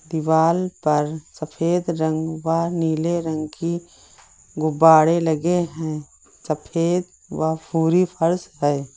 दिवाल पर सफेद रंग व नीले रंग की गुब्बारे लगे हैं सफेद व पूरी फर्श है।